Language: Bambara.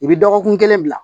I bɛ dɔgɔkun kelen bila